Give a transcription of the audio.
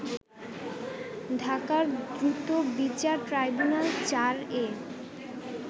ঢাকার দ্রুতবিচার ট্রাইব্যুনাল-৪ এ